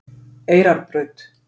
Eyrarbraut